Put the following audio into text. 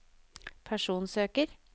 personsøker